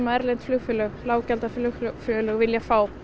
erlend flugfélög lággjaldaflugfélög vilja fá